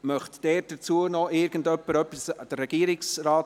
Möchte noch irgendjemand etwas dazu sagen?